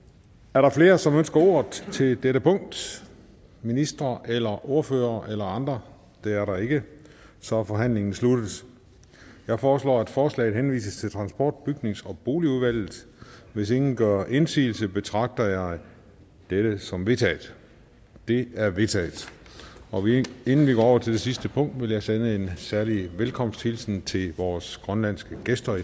er der flere som ønsker ordet ved dette punkt ministeren ordføreren eller andre det er der ikke så forhandlingen er sluttet jeg foreslår at forslaget henvises til transport bygnings og boligudvalget hvis ingen gør indsigelse betragter jeg dette som vedtaget det er vedtaget inden vi går over til det sidste punkt vil jeg sende en særlig velkomsthilsen til vores grønlandske gæster